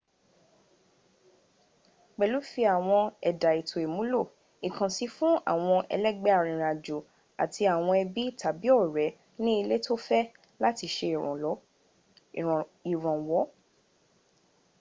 pèlú fi àwọn ẹ̀dà èto ìmúlò/ìkànsín fún àwọn ẹlẹ́gbẹ́ arìnrìn àjò àti àwọn ẹbí tàbí ọ̀rẹ́ ní ilé tó fẹ́ láti sẹ ìrànwọ́